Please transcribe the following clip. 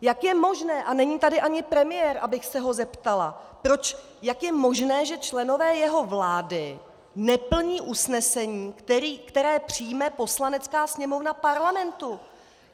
Jak je možné - a není tady ani premiér, abych se ho zeptala, jak je možné, že členové jeho vlády neplní usnesení, které přijme Poslanecká sněmovna Parlamentu?